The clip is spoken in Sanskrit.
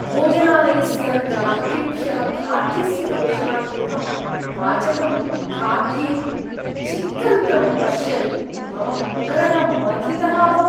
भोजनालयस्य ग्राहकेभ्यः खाद्यस्य प्रेषणात् पूर्वं पाचकं खाद्ये छिक्कन्तं पश्यन् मम उदरः मथितः अभवत्।